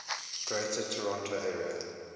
greater toronto area